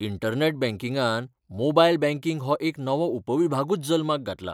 Internet बँकिंगान mobile banking हो एक नवो उपविभागूच जल्माक घातला.